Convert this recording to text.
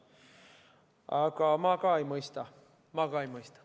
Aga ma ka ei mõista, ma ka ei mõista.